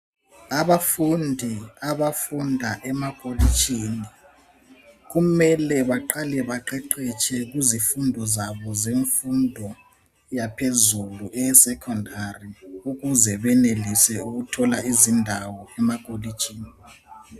Abafundi abafunda emakolitshini kumele baqale baqeqetshe kuzifundo zabo zemfundo yaphezulu eyesekhondari ukuze benelise ukuthola izindawo emakolitshini.